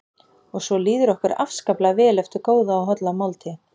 Og svo líður okkur afskaplega vel eftir góða og holla máltíð.